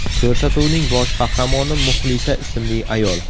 Ko‘rsatuvning bosh qahramoni Muxlisa ismli ayol.